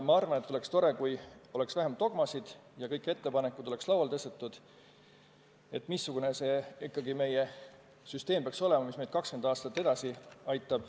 Minu arvates oleks tore, kui oleks vähem dogmasid ja lauale oleks tõstetud kõik ettepanekud, missugune ikkagi peaks meie süsteem olema, et see aitaks meid 20 aastat edasi elada.